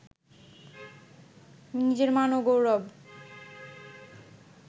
নিজের মান ও গৌরব